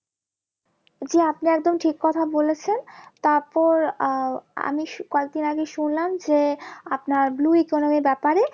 জি আপনি একদম ঠিক কথা বলেছেন তারপর আহ আমি কয়েকদিন আগে শুনলাম যে আপনার blue economy ব্যাপারে